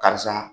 Karisa